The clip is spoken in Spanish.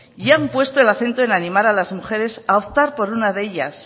y han puesto el acento en animar a las mujeres a optar por una de ellas